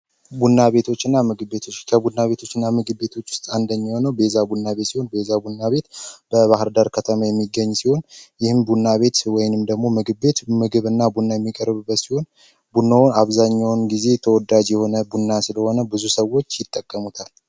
ቡና ቤቶችና ምግብ ቤቶች ቡና ቤቶችና ምግብ ቤቶች ውስጥ አንደኛ ቤዛ ቡና ቤት ቡና ቤት በባህርዳር ከተማ የሚገኝ ሲሆን ይህን ቡና ቤት ወይም ደሞ ምግብ ቤት ምግብና ቡና የሚቀርብበት አብዛኛውን ጊዜ ተወዳጅ የሆነ ቡና ስለሆነ ብዙ ሰዎች ይጠቀሙታል።